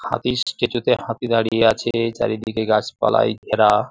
হাতির স্ট্যাচু -তে হাতি দাঁড়িয়ে আছে চারিদিকে গাছপালায় ঘেরা।